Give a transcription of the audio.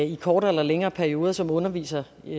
i kortere eller længere perioder som undervisere i